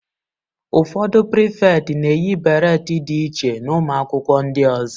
Ụfọdụ Pirifeti na-eyi beret dị iche na ụmụ akwụkwọ ndị ọzọ.